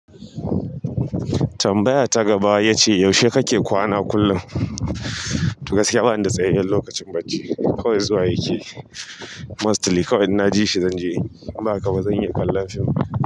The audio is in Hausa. Tambaya ta gaba ya ce, yaushe kake kwana kullun? To gaskiya bani da tsayaiyen lokacin bacci, kawai zuwa yakeyi, mostly kawai in na ji shi zan je inyi, in ba haka ba zan iya kallan fim.